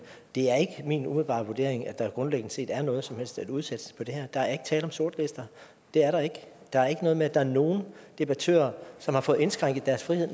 det er ikke min umiddelbare vurdering at der grundlæggende set er noget som helst at udsætte på det her der er ikke tale om sortlister det er der ikke der er ikke noget med at der er nogle debattører som har fået indskrænket deres frihed